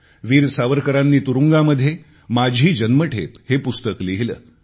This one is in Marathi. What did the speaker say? वीर सावरकरांनी तुरुंगामध्ये माझी जन्मठेप हे पुस्तक लिहिले